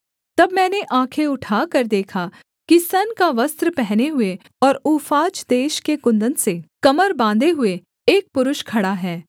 तब मैंने आँखें उठाकर देखा कि सन का वस्त्र पहने हुए और ऊफाज देश के कुन्दन से कमर बाँधे हुए एक पुरुष खड़ा है